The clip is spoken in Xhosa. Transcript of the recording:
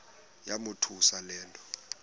yamothusa le nto